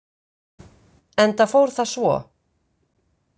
Enda fór það svo.